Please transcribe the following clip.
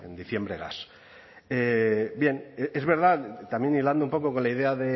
diciembre gas bien es verdad también hilando un poco con la idea